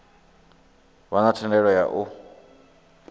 vha na thendelo ya u